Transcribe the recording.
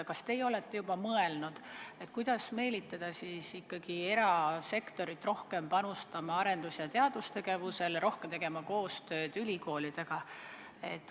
Kas teie olete juba mõelnud, kuidas meelitada ikkagi erasektorit rohkem panustama arendus- ja teadustegevusele, rohkem tegema koostööd ülikoolidega?